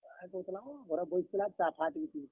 Match ହେଉଥିଲା ବୋ ଘରେ ବସିଥିଲି ଆଉ ଚା ଟିକେ ପିଉ ଥିଲି।